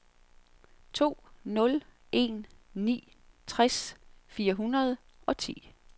to nul en ni tres fire hundrede og ti